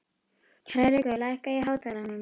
Hrærekur, lækkaðu í hátalaranum.